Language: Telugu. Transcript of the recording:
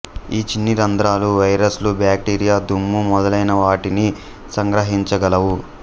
ఈ చిన్న రంధ్రాలు వైరస్లు బ్యాక్టీరియా దుమ్ము మొదలైనవాటిని సంగ్రహించగలవు